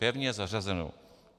Pevně zařazeno.